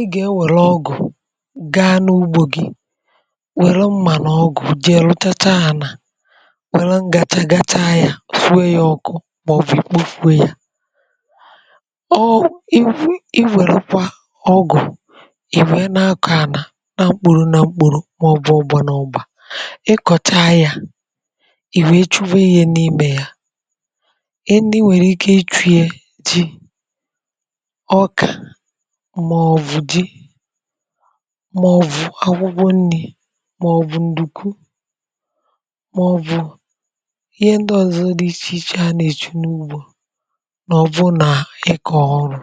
ị ga-enwèrè ọgụ̀ gaa n’ugbȯ gị wère m̀mà n’ọgụ̀ dị rụtacha ànà wère m̀gàchà gacha ya sụụ ye ọkụ màọbụ̀ ikpokwuė ya ọọ̀ ị wụ̀ i wèrekwa ọgụ̀ ìwè na-akọ̀ ànà na mkpùrù na mkpùrù màọbụ̀ ụgbọ̀ n’ụbà ị kọ̀cha ya ìwè chuwe ihe n’imė ya ị ndị nwèrè ike ichu̇ye dị ọkà um mà ọ̀ bụ̀ akwụgwọ nni̇ mà ọ̀ bụ̀ ǹdùkwu mà ọ̀ bụ̀ ihe ndị ọ̀zọ dị ichè ichè a nà-èchi n’ugbȯ nà ọ̀ bụ nà ịkọ̇ ọrụ̇ ọ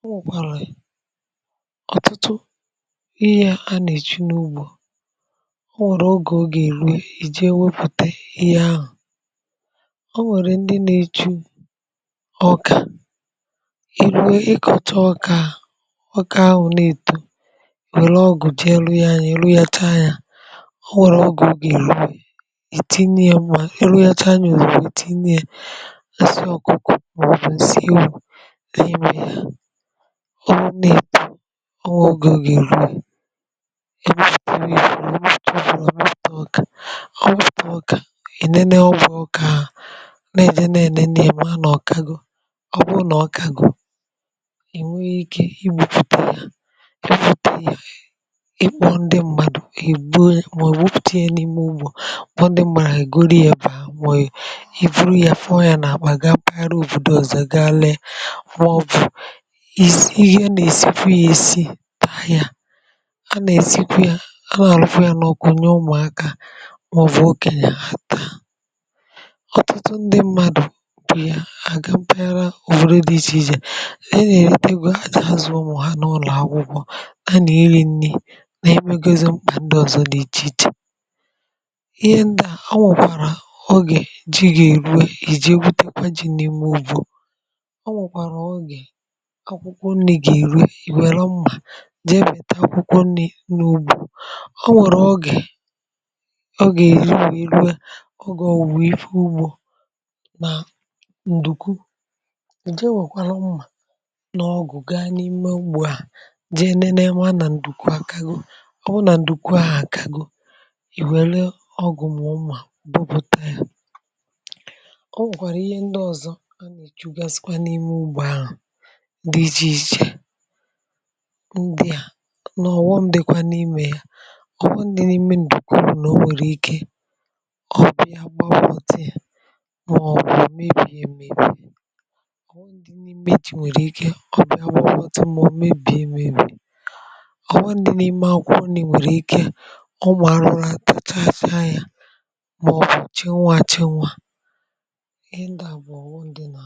nwụ̀kwàrà ọ̀tụtụ ihe a nà-èchi n’ugbȯ o nwèrè ogè ọ gà-èru è jee wepụ̀te ihe ahụ̀ o nwèrè ndị nà-èchi ọkà nwọrọ ahụ na-eto nwekwara ọgụ̀ ji elu ya anyị̀ elu ya taa ya o nwèrè ọgụ̀ ọgà ìru ìtinye ya mmanya elu ya tinyù bụ̀ ìtinye asịọ ọ̀kụkọ̀ mà ọ bụ̀ nsiihu inye yà o nwèrè ọgụ̀ oge ìru ìru ìru ìru ìru ìru ìru ìru ìtụọ bụ̀ nwete ọkà nwọtụ ọkà ènene ogè ọkà nà-èji na-ènene èma nà ọ̀kago ọbụrụ nà ọkago ihe mpụta ya ịkpọ ndị mmadụ̀ màọbụ̀ ọpụta ya n’ime ụgbọ̀ kpọ ndị m̀màrà yà goro ya bà màọbụ̀ i buru ya fụọ ya n’àkpà ga pagharị òbòdò zò ga alẹ̀ wụọ bụ̀ ihe ị gà-èsifu ya èsi taa ya a nà-èsifu ya a nà-àlụfu ya n’ọkụ nye ụmụ̀akȧ wụọ okè ya hà taa ọtụtụ ndị mmadụ̀ bụ ya àga mpaghara òvode dị ichèichè a nà-eri nni na-ẹmẹgozi mkpà ǹdị ọ̀zọ n’ichìichì ihe ndà o nwèkwàrà ogè ji gà-eruè ìje butekwa ji̇ nà ịmụ̀ bụ̀ o nwèkwàrà ogè akwụkwọ nni̇ gà-eruè i wẹ̀rọ mmà jẹbẹ̀ta akwụkwọ nni̇ n’ugbȯ o nwèrè ogè ogè èri wee ogè owu̇ ife ugbȯ nà ǹdùku ìje wèkwàrà mmà dị enene ma nà ǹdùkwu akago ọ bụ nà ǹdùkwu ahụ̀ àkago ì wère ọgụ̀ mà ụmà bụbụta yȧ ọ bụ̀kwàrà ihe ndị ọ̀zọ a nà-èchugasikwa n’ime ugbȯ ahụ̀ dị ichè ichè ndị a nà-ọ̀wọ ǹdèkwa n’imė ya ọ̀wọ ǹdì n’ime ǹdùkwu bụ̀ nà o nwèrè ike ọ̀wendị n’ime akwụkwọ nni̇ nwèrè ike ọ bụ̀ àrụrụ atọchaa asị̇a yȧ mà ọ̀ chenwa àchọ nwȧ ihe ndị à bụ̀ àwụ ndị nà